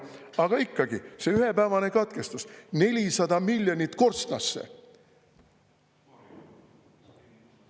Aga ikkagi, see ühepäevane katkestus, ja 400 miljonit korstnasse.